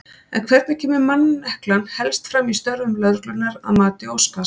En hvernig kemur manneklan helst fram í störfum lögreglunnar að mati Óskars?